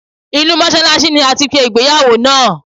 Inú Mọ́ṣálásí ni a ti ṣe ìgbéyàwó náà.